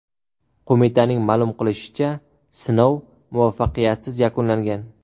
Qo‘mitaning ma’lum qilishicha, sinov muvaffaqiyatsiz yakunlangan.